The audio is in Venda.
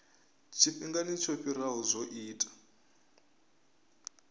tshifhingani tsho fhiraho zwo ita